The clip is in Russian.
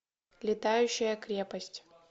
летающая крепость